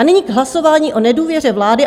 A nyní k hlasování o nedůvěře vlády.